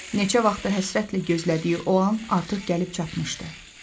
Neçə vaxtdır həsrətlə gözlədiyi o an artıq gəlib çatmışdı.